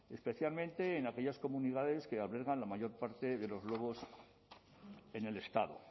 especialmente en aquellas comunidades que albergan la mayor parte de los lobos en el estado